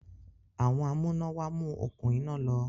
Àwọn amúnáwá mú okún iná lọ